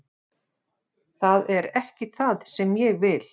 Það er ekki það sem ég vil.